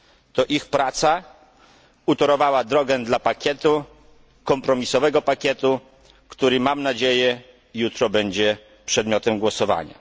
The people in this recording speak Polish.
To ich praca utorowała drogę do kompromisowego pakietu, który mam nadzieję jutro będzie przedmiotem głosowania.